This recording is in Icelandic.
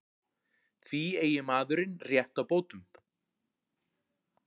Því eigi maðurinn rétt á bótum